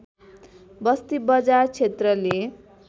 बस्ती बजार क्षेत्रले